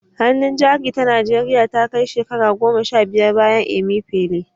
Hannun Jari ta Najeriya Ta Kai Shekara Goma Sha Biyar Bayan Emefiele